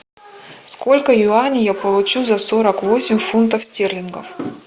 сколько юаней я получу за сорок восемь фунтов стерлингов